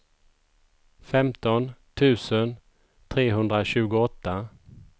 femton tusen trehundratjugoåtta